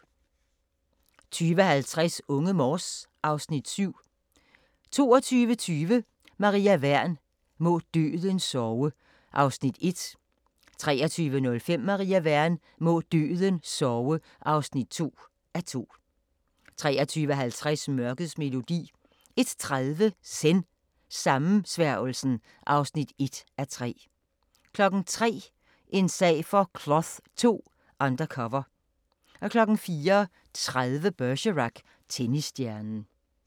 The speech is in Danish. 20:50: Unge Morse (Afs. 7) 22:20: Maria Wern: Må døden sove (1:2) 23:05: Maria Wern: Må døden sove (2:2) 23:50: Mørkets melodi 01:30: Zen: Sammensværgelsen (1:3) 03:00: En sag for Cloth II: Undercover 04:30: Bergerac: Tennisstjernen